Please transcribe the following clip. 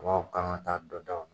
Mɔw kan ka taa dɔ dan o la